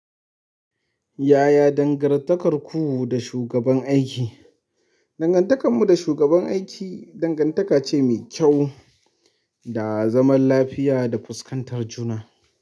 Yaya dangantakarku da shugaban aiki? Dangan takan mu da shugaban aiki dangan taka ce mai kyau da zaman lafiya da fuskantar juna.